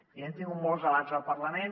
i hem tingut molts debats al parlament